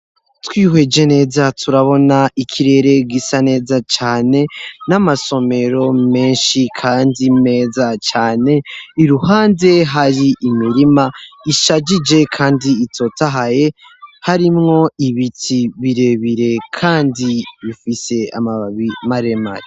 Twihweje neza turabona ikirere gisa neza cane. N'amasomero menshi kandi meza cane. Iruhande hari imirima ishajije kandi itotahaye, harimwo ibiti birebire kandi bifise amababi maremare.